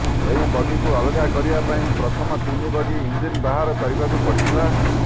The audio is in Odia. ସେହି ବଗିକୁ ଅଲଗା କରିବା ପାଇଁ ପ୍ରଥମ ତିନି ବଗି ଇଞ୍ଜିନ ବାହାର କରିବାକୁ ପଡ଼ିଥିଲା